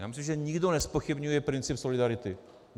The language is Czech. Já myslím, že nikdo nezpochybňuje princip solidarity.